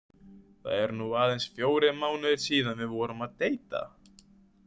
Það eru nú aðeins fjórir mánuðir síðan við fórum að deita.